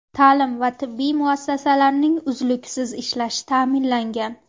Ta’lim va tibbiy muassasalarning uzluksiz ishlashi ta’minlangan.